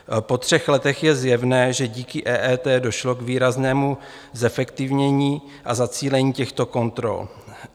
Po třech letech je zjevné, že díky EET došlo k výraznému zefektivnění a zacílení těchto kontrol.